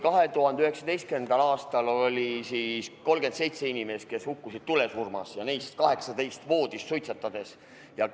2019. aastal oli 37 inimest, kes hukkusid tulesurmas, neist 18 voodis suitsetamise tõtttu.